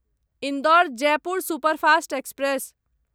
Indore Jaipur superfast express